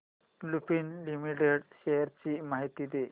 Lupin Limited shares ची माहिती दे